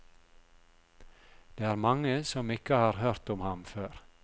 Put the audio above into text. Det er mange som ikke har hørt om ham før.